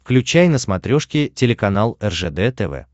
включай на смотрешке телеканал ржд тв